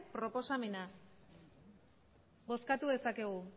proposamenak bozkatu dezakegu